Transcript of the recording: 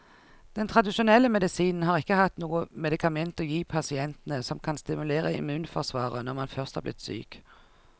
Den tradisjonelle medisinen har ikke hatt noe medikament å gi pasientene som kan stimulere immunforsvaret når man først er blitt syk.